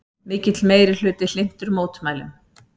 Mikill meirihluti hlynntur mótmælum